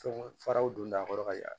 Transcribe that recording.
Fɛnw faraw don a kɔrɔ ka ya